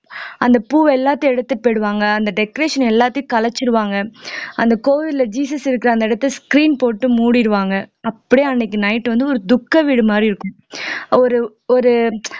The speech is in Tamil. அந்த பூவை எல்லாத்தையும் எடுத்துட்டு போயிடுவாங்க அந்த decoration எல்லாத்தையும் கலைச்சிடுவாங்க அந்த கோவில்ல ஜீசஸ் இருக்கிற அந்த இடத்தை screen போட்டு மூடிடுவாங்க அப்படியே அன்னைக்கு night வந்து ஒரு துக்க வீடு மாதிரி இருக்கும் ஒரு ஒரு